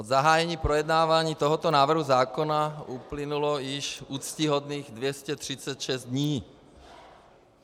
Od zahájení projednávání tohoto návrhu zákona uplynulo již úctyhodných 236 dní.